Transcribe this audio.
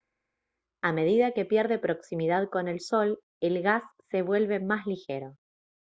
a medida que pierde proximidad con el sol el gas se vuelve más ligero